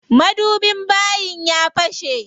Madubin bayin ya fashe.